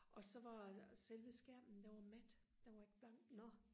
og så var selve skærmen den var mat den var ikke blank